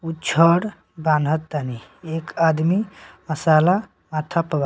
उ छड़ बांधतानी एक आदमी मसाला माथा पर --